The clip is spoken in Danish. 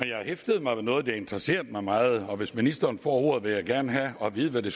jeg hæftede mig ved noget der interesserede mig meget og hvis ministeren får ordet vil jeg gerne have at vide hvad det